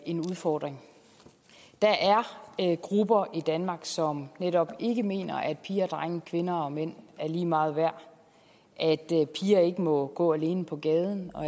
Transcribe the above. en udfordring der er grupper i danmark som netop ikke mener at piger og drenge kvinder og mænd er lige meget værd at piger ikke må gå alene på gaden og